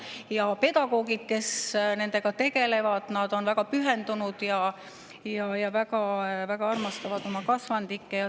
Ja pedagoogid, kes nendega tegelevad, on väga pühendunud ja väga armastavad oma kasvandikke.